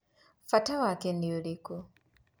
Bata waku nĩũrĩkũ?